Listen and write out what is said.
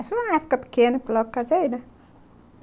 Isso numa época pequena, porque lá eu casei, né?